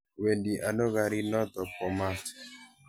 Wendi ano garit noto bo maat.